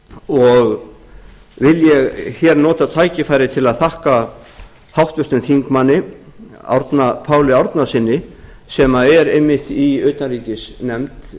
og vil ég nota tækifærið til að þakka háttvirtum þingmanni árna páli árnasyni sem er einmitt í utanríkisnefnd